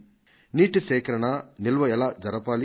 నీటి సేకరణ నిల్వ ఎలా జరపాలి